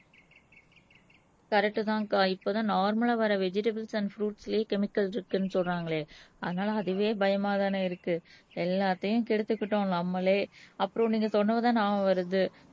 correct தான் அக்கா இப்பதான் நார்மல்லா வர வெஜிடபுள்ஸ் அண்ட் பிருய்ட்ஸ்லயே கெமிக்கல் சத்துன்னு சொல்றாங்களே அதனால அதுவே பயமாதானே இருக்கு எல்லாத்தையும் கெடுத்துக்கிட்டோம் நம்மளே அப்புறம் நீங்க சொன்னதுதான் ஞாபகம் வருது